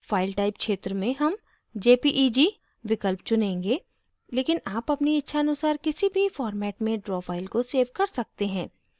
file type क्षेत्र में हम jpeg विकल्प चुनेंगे लेकिन आप अपनी इच्छानुसार किसी भी format में draw file को सेव कर सकते हैं